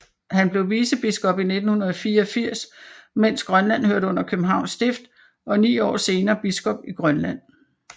Han blev vicebiskop i 1984 mens Grønland hørte under Københavns Stift og ni år senere biskop i Grønland